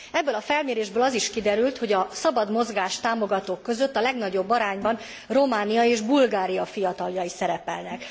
Ebből a felmérésből az is kiderült, hogy a szabad mozgást támogatók között a legnagyobb arányban Románia és Bulgária fiataljai szerepelnek.